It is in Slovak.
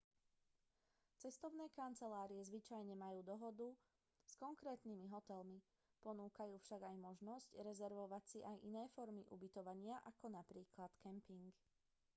cestovné kancelárie zvyčajne majú dohodu s konkrétnymi hotelmi ponúkajú však aj možnosť rezervovať si aj iné formy ubytovania ako napríklad kemping